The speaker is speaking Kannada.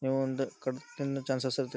ನೀವು ಒಂದು ಕಡುಬು ತಿನ್ನೋ ಚಾನ್ಸಸ್ ಇರುತ್ತೆ .